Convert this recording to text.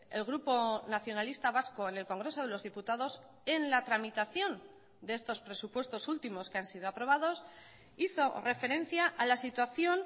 el grupo nacionalista vasco en el congreso de los diputados en la tramitación de estos presupuestos últimos que han sido aprobados hizo referencia a la situación